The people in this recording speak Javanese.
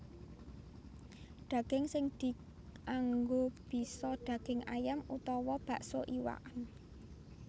Daging sing dianggo bisa daging ayam utawa bakso iwakn